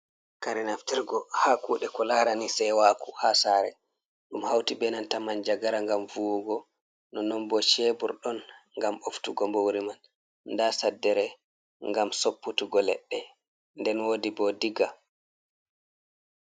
Kare naftirgo ha kuɗe ko larani sewaku ha sare. ɗum hauti benanta manjagara ngam vuwugo, nonon bo shebur ɗon ngam ɓoftugo mbuwri man, nda saddere ngam sopputuggo leɗɗe nden wodi bo diga.